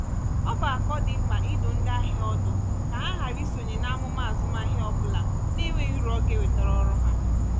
ọ bụ akọ dị mkpa ịdụ ndị ahịa ahịa ọdụ ka ha hara isonye n'amụma azụmahịa ọbula na-enweghi uru ọ ga-ewetara ọrụ ha.